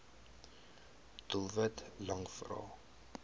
doelwit lang vrae